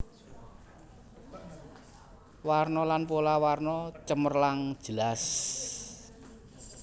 Warna lan pola warna cemerlang jelas